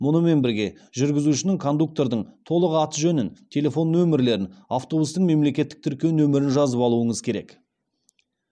мұнымен бірге жүргізушінің кондуктордың толық аты жөнін телефон нөмірлерін автобустың мемлекеттік тіркеу нөмірін жазып алуыңыз керек